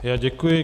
Já děkuji.